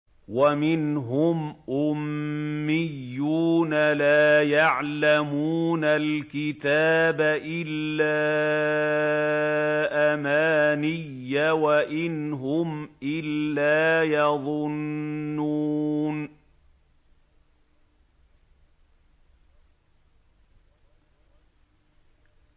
وَمِنْهُمْ أُمِّيُّونَ لَا يَعْلَمُونَ الْكِتَابَ إِلَّا أَمَانِيَّ وَإِنْ هُمْ إِلَّا يَظُنُّونَ